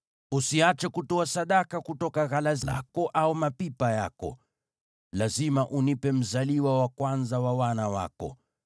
“Usiache kutoa sadaka kutoka ghala lako au mapipa yako. “Lazima unipe mzaliwa wa kwanza wa wana wako.